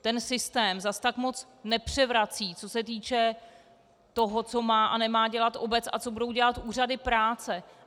Ten systém zas tak moc nepřevrací, co se týče toho, co má a nemá dělat obec a co budou dělat úřady práce.